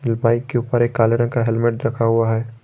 ये बाइक के ऊपर एक काला रंग का हेलमेट रखा हुआ है।